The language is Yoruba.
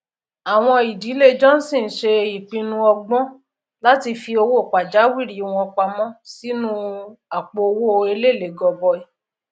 nípa ríra àwọn nnkan tí kìí bàjẹ lọpọ ọpọ àwọn ìdílé le dín ìnáwó oúnjẹ oṣoosù kù gidigidi